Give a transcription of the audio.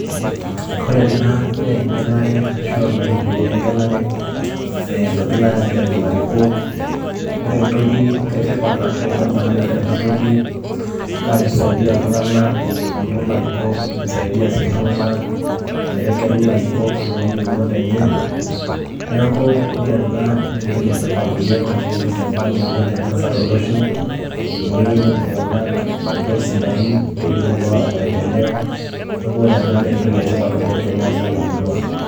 ore ena naa egelare, ashu olaini ogirrae aagelu ilarikok. ore entoki etipat ashu ene maana tene wueji, naa kisaidia illtung'anak menoto larikok, nisaidia sii iltunganak metegelu ilarikok lo yieunot enye, neeku ore ena naa entoki etipat oleng, ashu entoki emaana oleng teesa tolosho. amu eyiolou iltunganak ilarikok sidain ,neyiolou iloota maendeleo neeku entoki sda ena teneesa temurua.